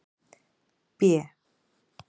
B